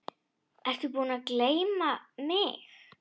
Ertu búinn að gleyma mig?